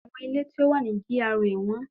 Àwọn ilé tí ó wà ní GRA wọ́n